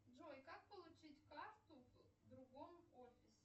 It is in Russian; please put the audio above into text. джой как получить карту в другом офисе